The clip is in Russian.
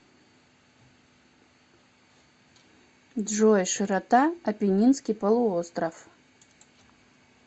джой широта апеннинский полуостров